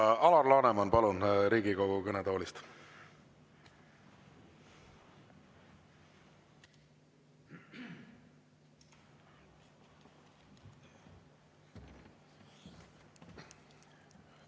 Nii, Alar Laneman, palun, Riigikogu kõnetoolist!